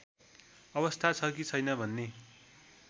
अवस्था छ कि छैन भन्ने